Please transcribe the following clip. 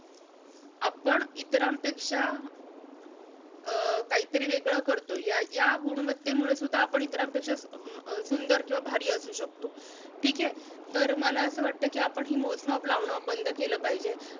आपण इतरांपेक्षा, अं काहीतरी वेगळं करतोय, या~ या गुणवत्तेमुळे सुद्धा आपण इतरांपेक्षा अं अह सुंदर किंवा भारी असू शकतो. ठीके? तर मला असं वाटतं कि आपण ही मोजमाप लावणं बंद केलं पाहिजे.